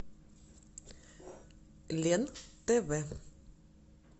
лен тв